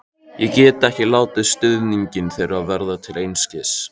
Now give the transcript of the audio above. Ég get ekki látið stuðning þeirra verða til einskis.